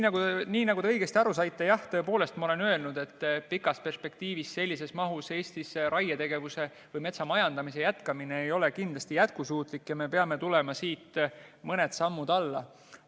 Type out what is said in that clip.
Te saite õigesti aru, jah, tõepoolest, ma olen öelnud, et pikas perspektiivis sellises mahus Eestis raietegevuse või metsamajandamise jätkamine ei ole kindlasti jätkusuutlik ja me peame astuma mõned sammud tagasi.